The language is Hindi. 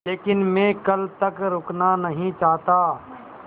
लेकिन मैं कल तक रुकना नहीं चाहता